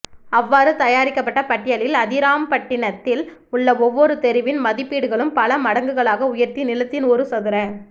அவ்வாறு தயாரிக்கப்பட்ட பட்டியலில் அதிராம்பட்டினத்தில் உள்ள ஒவ்வொரு தெருவின் மதிப்பீடுகளும் பல மடங்குகளாக உயர்த்தி நிலத்தின் ஒரு சதுர